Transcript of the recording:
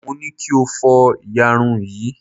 mo ni kí o fó iyarun yrn